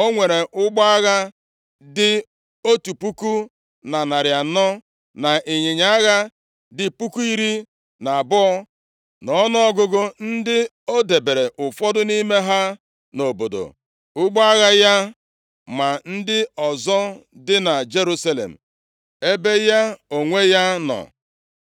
O nwere ụgbọ agha dị otu puku na narị anọ na ịnyịnya agha dị puku iri na abụọ nʼọnụọgụgụ, ndị o debere ụfọdụ nʼime ha nʼobodo ụgbọ agha ya ma ndị ọzọ dị na Jerusalem ebe ya onwe ya nọ.